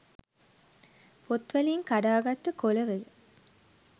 පොත් වලින් කඩා ගත්ත කොල වල